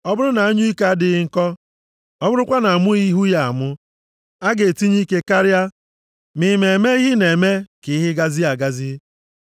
Ọ bụrụ na anyụike adịghị nkọ, ọ bụrụkwa na-amụghị ihu ya amụ, a ga-etinye ike karịa, ma ịma eme ihe na-eme ka ihe gazie agazi.